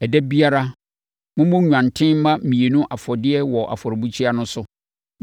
“Ɛda biara, mommɔ nnwanten mma mmienu afɔdeɛ wɔ afɔrebukyia no so.